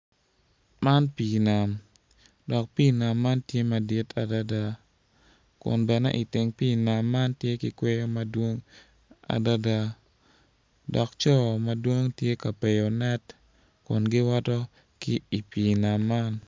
man pii nam dok pii nam tye madit adada kun bene iteng pii nam man tye ki kweyo adada dok co madwong tye k apeyo net kun giwoto ki i pii nam man